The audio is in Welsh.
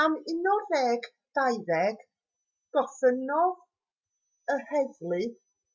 am 11:20 gofynnodd yr heddlu